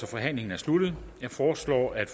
forhandlingen sluttet jeg foreslår at